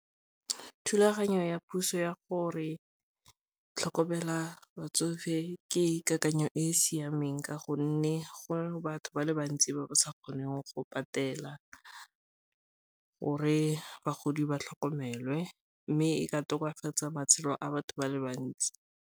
Thulaganyo ya puso ya gore tlhokomela batsofe ke dikakanyo e e siameng ka gonne go batho ba le bantsi ba ba sa kgoneng go patela gore bagodi ba tlhokomele mme e ka tokafatsa matshelo a batho ba le bantsi.